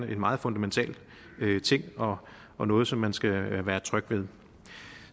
er en meget fundamental ting og og noget som man skal være tryg ved